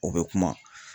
O bɛ kuma